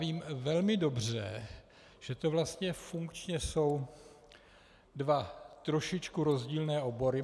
Vím velmi dobře, že to vlastně funkčně jsou dva trošičku rozdílné obory.